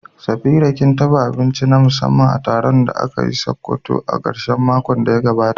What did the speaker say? Safira kin dafa abinci na musamman na taron da aka yi a Sokoto a karshen makon da ya gabata?